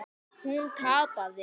Hún tapaði.